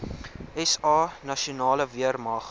sa nasionale weermag